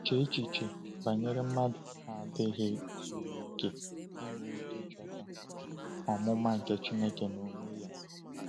Chee echiche banyere mmadụ na-adịghị zuru okè inwe ike ịchọta “omụma nke Chineke n’onwe ya”!